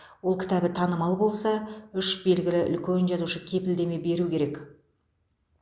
ол кітабы танымал болса үш белгілі үлкен жазушы кепілдеме беру керек